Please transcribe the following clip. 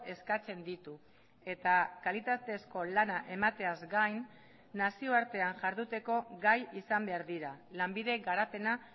eskatzen ditu eta kalitatezko lana emateaz gain nazioartean jarduteko gai izan behar dira lanbide garapena